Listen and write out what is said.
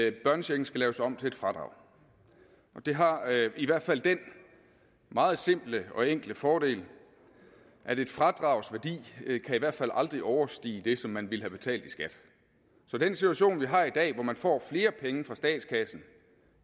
at børnechecken skal laves om til et fradrag og det har i hvert fald den meget simple og enkle fordel at et fradrags værdi i hvert fald aldrig kan overstige det som man ville have betalt i skat så den situation vi har i dag hvor man får flere penge fra statskassen